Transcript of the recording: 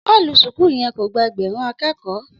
Ọlú súkù yẹ kó gbà ẹgbẹrún àkẹkọ